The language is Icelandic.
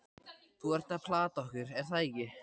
Þú ert að plata okkur, er það ekki?